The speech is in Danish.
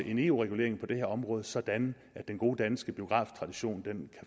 en eu regulering på det her område sådan at den gode danske biograftradition kan